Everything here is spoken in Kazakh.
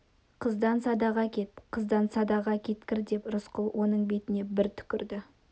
қыздан садаға кет қыздан садаға кеткір деп рысқұл оның бетіне бір түкірді